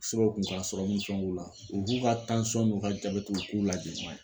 u k'u ka n'u ka jabɛti u k'u lajɛ